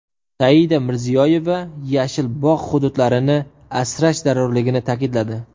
Saida Mirziyoyeva yashil bog‘ hududlarini asrash zarurligini ta’kidladi.